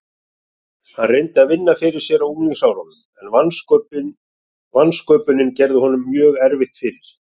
Hann reyndi að vinna fyrir sér á unglingsárunum en vansköpunin gerði honum mjög erfitt fyrir.